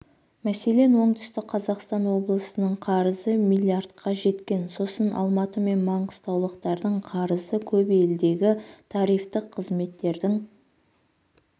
мәселен оңтүстік қазақстан облысының қарызы млрдқа жеткен сосын алматы мен маңғыстаулықтардың қарызы көп елдегі тарифтік қызметтердің